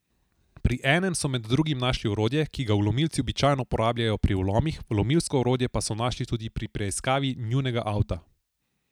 Pri enem so med drugim našli orodje, ki ga vlomilci običajno uporabljajo pri vlomih, vlomilsko orodje pa so našli tudi pri preiskavi njunega avta.